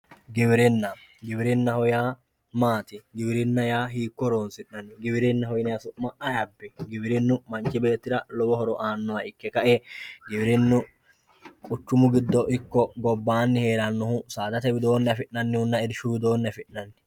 giwirinna. giwirinnaho yaa maati giwirinna yaa hiikko horoonsi'nanni giwirinnaho yinayii su'ma ayi abbino giwirinu manchi beettira lowo horo aannoha ikke ka"e giwirinnu quchumu giddo ikko gobbaanni heerannohu saadate widoonni afi'nannihonna irshu widoonni afi'nanniho.